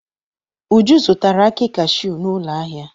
Uju zụtara akị cashew n'ụlọ ahịa.